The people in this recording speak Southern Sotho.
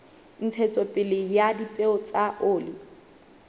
ntshetsopele ya dipeo tsa oli